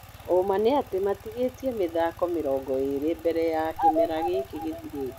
Ũma nĩatĩ matigĩtie mĩthako mĩrongo ĩrĩ mbere ya kĩmera gíkĩ gĩthirĩte.